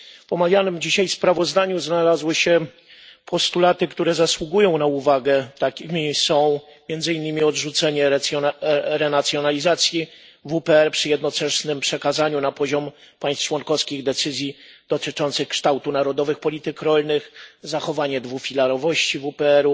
W omawianym dzisiaj sprawozdaniu znalazły się postulaty, które zasługują na uwagę, takie jak odrzucenie renacjonalizacji WPR przy jednoczesnym przekazaniu na poziom państw członkowskich decyzji w sprawie kształtu krajowych polityk rolnych, zachowanie dwufilarowości WPR,